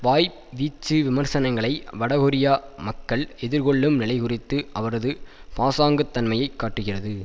வாய்வீச்சு விமர்சனங்கள் வடகொரியா மக்கள் எதிர்கொள்ளும் நிலைகுறித்து அவரது பாசாங்குத் தன்மையை காட்டுகிறது